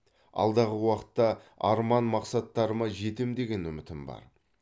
алдағы уақытта арман мақсаттарыма жетем деген үмітім бар